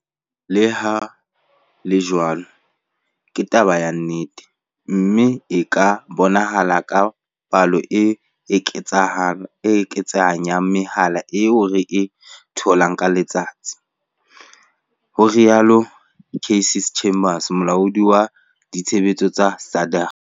"Leha ho le jwalo, ke taba ya nnete, mme e ka bonahala ka palo e eketsehang ya mehala eo re e tholang ka letsatsi," ho rialo Cassey Chambers, Molaodi wa Ditshebetso wa SADAG.